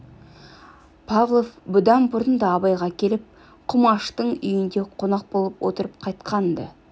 павлов бұдан бұрын да абайға келіп құмаштың үйінде қонақ болып отырып қайтқан-ды